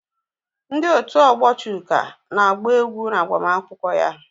Ndị otu ọgbọ Chuka na-agba egwú n'agbamakwụkwọ ya.